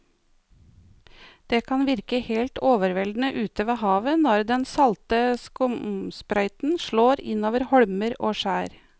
Det kan virke helt overveldende ute ved havet når den salte skumsprøyten slår innover holmer og skjær.